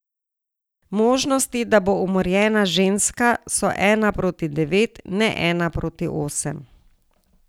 Možnosti, da bo umorjena ženska, so ena proti devet, ne ena proti osem.